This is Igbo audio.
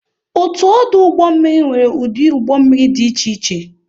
Otu ọdụ ụgbọ mmiri nwere ụdị ụgbọ mmiri dị iche iche